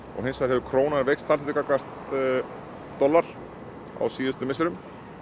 og hins vegar hefur krónan veikst talsvert gagnvart dollar á síðustu misserum